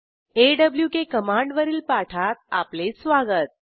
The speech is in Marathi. ऑक कमांड वरील पाठात आपले स्वागत